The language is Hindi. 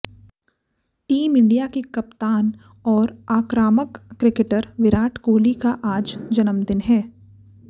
टीम इंडिया के कप्तान और आक्रामक क्रिकेटर विराट कोहली का आज जन्मदिन है